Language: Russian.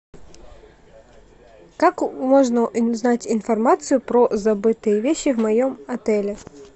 как можно узнать информацию про забытые вещи в моем отеле